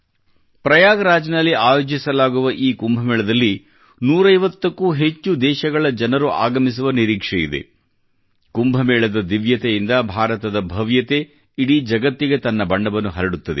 ಪ್ರಯಾಗ್ ರಾಜ್ ನಲ್ಲಿ ಆಯೋಜಿಸಲಾಗುವ ಈ ಕುಂಭ ಮೇಳದಲ್ಲಿ 150ಕ್ಕೂ ಹೆಚ್ಚು ದೇಶಗಳ ಜನರು ಆಗಮಿಸುವ ನಿರೀಕ್ಷೆ ಇದೆ ಕುಂಭಮೇಳದ ದಿವ್ಯತೆಯಿಂದ ಭಾರತದ ಭವ್ಯತೆ ಇಡೀ ಜಗತ್ತಿಗೆ ತನ್ನ ಬಣ್ಣವನ್ನು ಹರಡುತ್ತದೆ